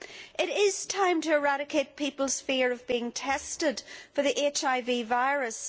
It is time to eradicate people's fear of being tested for the HIV virus.